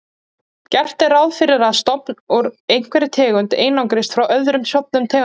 Gert er ráð fyrir að stofn úr einhverri tegund einangrist frá öðrum stofnum tegundarinnar.